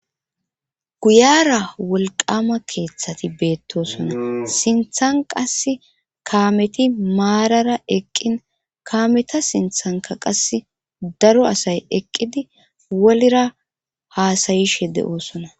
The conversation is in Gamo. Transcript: Guyara wolqama keeththati beettosona sinthan qas kaameti maarara eqqin kaameta sinthanka qas daro asay eqqidi wolira haasayishe de7osona.